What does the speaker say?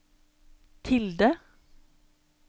tilde